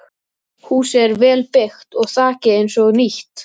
Þóreyjar ráðgjafa og júnísólin glampaði úti.